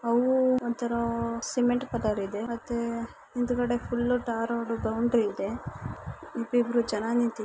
ಅವು ಒಂಥರಾ ಹೂಮ್ ಸಿಮೆಂಟ್ ಕಲರ್ ಇದೆ ಮತ್ತೆ ಮುಂದುಗಡೆ ಫುಲ್ ಟಾರ್ --